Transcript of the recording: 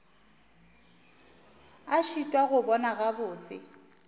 a šitwa go bona gabotse